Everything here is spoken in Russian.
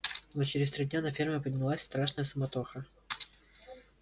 но через три дня на ферме поднялась страшная суматоха